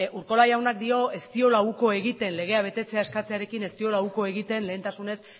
urkola jaunak dio ez diola uko egiten legea betetzea eskatzearekin ez diola uko egiten lehentasunez